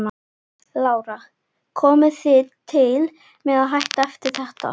Lára: Komið þið til með að hætta eftir þetta?